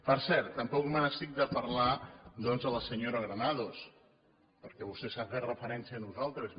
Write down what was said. per cert tampoc me n’estic de parlar doncs de la senyora granados perquè vostè ha fet referència a nosaltres